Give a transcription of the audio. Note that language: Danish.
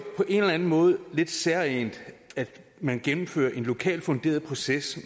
på en eller en måde lidt særegent at man gennemfører en lokalt funderet proces